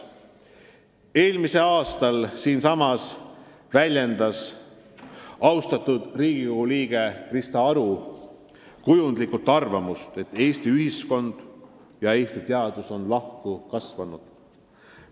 Eelmisel aastal väljendas austatud Riigikogu liige Krista Aru siin saalis kujundlikult arvamust, et Eesti ühiskond ja Eesti teadus on lahku kasvanud.